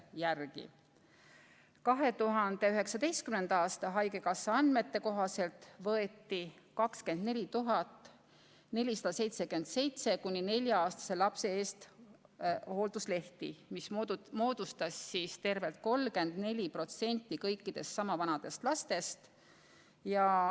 Haigekassa 2019. aasta andmete kohaselt võeti hoolduslehti 24 477 kuni nelja-aastase lapse eest hoolitsemiseks, mis moodustas tervelt 34% kõikidest sama vanadest lastest.